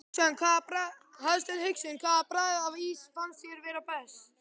Hafsteinn Hauksson: Hvaða bragð af ís fannst þér vera best?